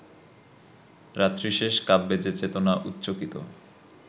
রাত্রিশেষ কাব্যে যে-চেতনা উচ্চকিত